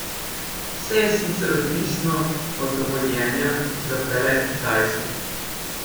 Vse je sicer odvisno od dovoljenja za prelet Kitajske.